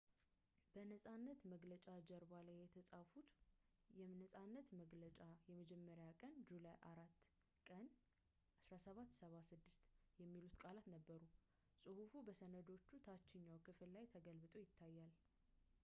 በነጻነት መግለጫ ጀርባ ላይ የተፃፉት የነፃነት መግለጫ የመጀመሪያ ቀን ጁላይ 4 ቀን 1776 የሚሉ ቃላት ነበሩ ጽሑፉ በሰነዱ ታችኛው ክፍል ላይ ተገልብጦ ይታያል